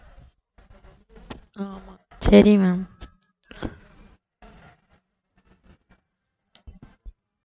ஆமா சரி ma'am